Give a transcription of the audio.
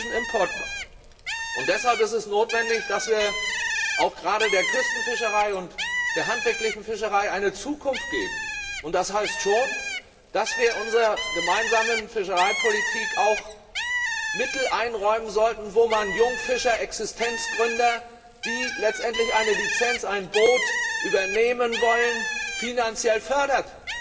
Wir sind ein Riesenimportmarkt, und deswegen ist es notwendig, dass wir auch gerade der Küstenfischerei und der handwerklichen Fischerei eine Zukunft geben, und das heißt schon, dass wir unserer Gemeinsamen Fischereipolitik auch Mittel einräumen sollten, mit denen man Jungfischer, Existenzgründer, die letztendlich eine Lizenz, ein Boot übernehmen wollen, finanziell fördert.